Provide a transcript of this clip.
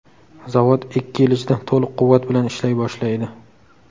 Zavod ikki yil ichida to‘liq quvvat bilan ishlay boshlaydi.